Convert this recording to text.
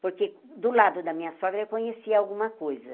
Porque, do lado da minha sogra, eu conhecia alguma coisa.